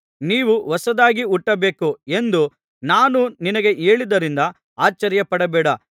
ನೀವು ಹೊಸದಾಗಿ ಹುಟ್ಟಬೇಕು ಎಂದು ನಾನು ನಿನಗೆ ಹೇಳಿದ್ದರಿಂದ ಆಶ್ಚರ್ಯಪಡಬೇಡ